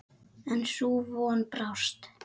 En sú von brást.